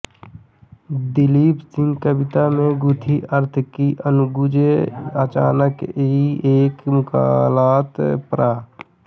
दिलीप सिंह कविता में गुंथी अर्थ की अनुगूँज अचानक की एक मुलाकात पृ